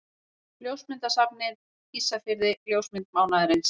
Ljósmyndasafnið Ísafirði Ljósmynd mánaðarins.